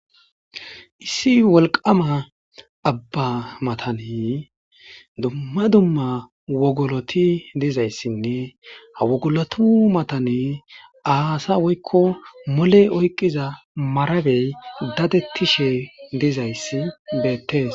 Issi wollqamma abba maatan dumma dumma wogoloti dizayssinne ha woggolotu matan aasa woykko molle oyqqiza maarabey dadetishe dizayssi bettes.